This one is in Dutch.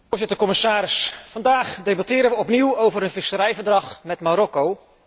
Voorzitter, commissaris, vandaag debatteren we opnieuw over een visserijverdrag met Marokko.